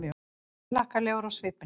Glaðhlakkalegur á svipinn.